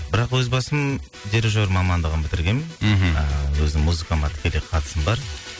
бірақ өз басым дирижер мамандығын бітіргенмін мхм ыыы өзі музыкама тікелей қатысым бар